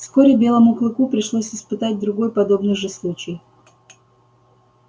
вскоре белому клыку пришлось испытать другой подобный же случай